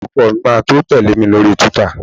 ọkọ mi ma to tele mi lori twitter